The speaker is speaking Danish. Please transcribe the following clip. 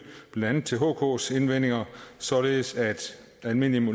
blandt andet til hks indvendinger således at almindelige